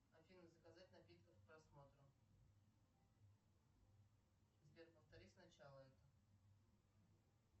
афина заказать напитков к просмотру сбер повтори с начала это